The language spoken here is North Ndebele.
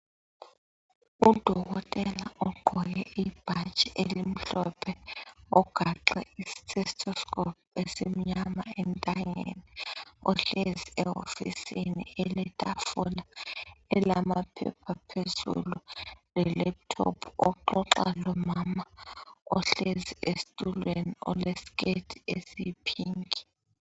Udokotela ugqoke ibhatshi elimhlophe ugaxe istetoscope esimnyama entanyeni. Uhlezi ehofisini eletafula elamaphepha phezulu le laptop , uxoxa lomama ohlezi esitulweni oleskirt esiyi pink .